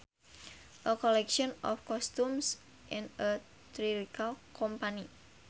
A collection of costumes in a theatrical company